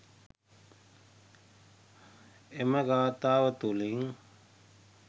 එම ගාථාව තුළින්